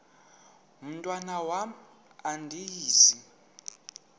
mntwan am andizi